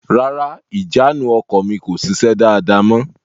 Rárá, ìjánu ọkọ̀ mi kò sise dáàda mọ.